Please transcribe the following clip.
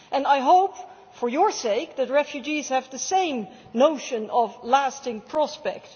I hope for your sake that refugees have the same notion of lasting prospects'.